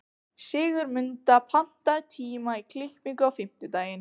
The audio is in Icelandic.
Sigurmunda, pantaðu tíma í klippingu á fimmtudaginn.